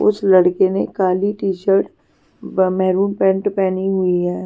उस लड़के ने काली टी-शर्ट मेरून पैंट पहनी हुई है.